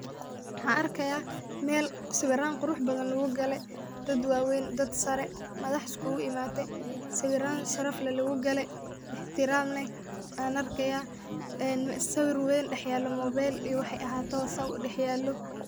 Maxan arkaya Mel sawiran qurux badan lugu gale, dad waweyn, dad sare, madax iskugu imaate sawiran sharaf leh lugu gale ixtiram leh an arkaya en sawir weyn dhax yalo mobail iyo waxay ahatoba sida udhax yalo.